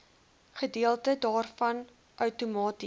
gedeelte daarvan outomaties